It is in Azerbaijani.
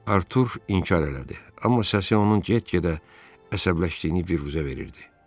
Artur inkar elədi, amma səsi onun get-gedə əsəbləşdiyini büruzə verirdi.